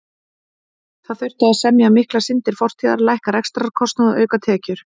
Það þurfti að semja um miklar syndir fortíðar, lækka rekstrarkostnað og auka tekjur.